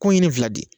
Ko n ye nin fila di